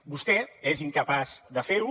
vostè és incapaç de fer ho